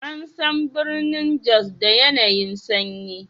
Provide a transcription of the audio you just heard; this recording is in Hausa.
An san birnin Jos da yanayi'n sanyi.